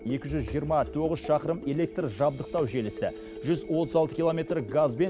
екі жүз жиырма тоғыз шақырым электр жабдықтау желісі жүз отыз алты километр газбен